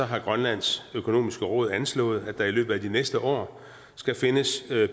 har grønlands økonomiske råd anslået at der i løbet af de næste år skal findes